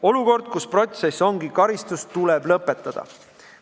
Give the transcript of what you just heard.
Olukord, kus protsess ongi karistus, tuleb lõpetada.